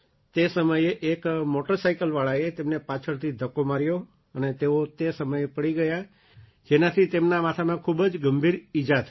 તે સમયે એક મૉટરસાઇકલવાળાએ તેમને પાછળથી ધક્કો માર્યો અને તેઓ તે સમયે પડી ગયાં જેનાથી તેમના માથામાં ખૂબ જ ગંભીર ઈજા થઈ